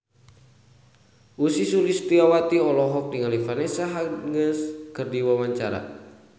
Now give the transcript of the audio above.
Ussy Sulistyawati olohok ningali Vanessa Hudgens keur diwawancara